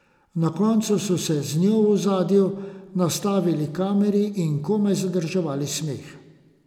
Na koncu so se z njo v ozadju nastavili kameri in komaj zadrževali smeh.